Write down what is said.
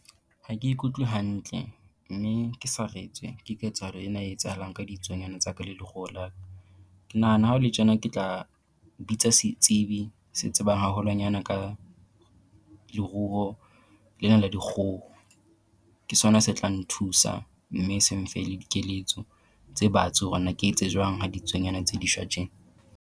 Ha ke ikutlwe hantle mme ke saretswe ke ketsahalo ena e etsahalang ka ditsuonyana tsa ka le leruo la ka. Ke nahana ha ho le tjena ke tla bitsa setsebi se tsebang haholwanyana ka leruo lena le dikgoho. Ke sona se tla nthusa mme se nfe le dikeletso tse batsi hore na ke etse jwang ha ditsuonyana tse di shwa tje.